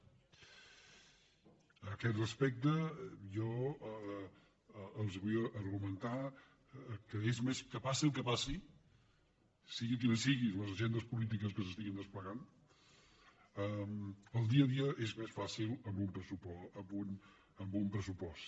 en aquest respecte jo els vull argumentar que passi el que passi siguin quines siguin les agendes políti·ques que s’estiguin desplegant el dia a dia és més fàcil amb un pressupost